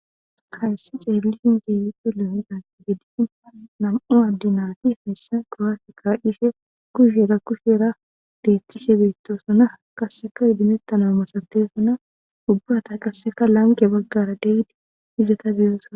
Hayssi xeelishin dizayssi nam''u adde naytti kuwasse ka'ishshe kushshera kushshera gaytishshe de'ossona.qase ugumeththana misaththisona. Hara qasekka lanqqera baggara de'iya izzeththa..